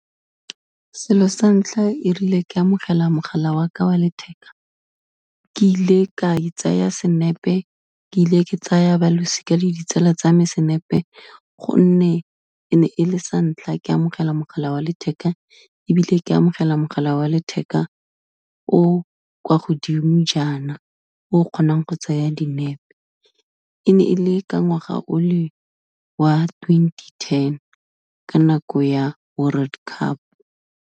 Selo sa ntlha erile ka amogela mogala waka wa letheka, ke ile ka itsaya senepe, ke ile ke tsaya balosika le ditsala tsa me senepe gonne, e ne e le santlha ke amogela mogala wa letheka, ebile ke amogela mogala wa letheka o kwa godimo jaana, o kgonang go tsaya dinepe, e ne e le ka ngwaga o le wa twenty-ten ka nako ya World Cup.